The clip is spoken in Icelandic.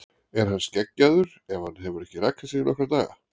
Er hann skeggjaður ef hann hefur ekki rakað sig í nokkra daga?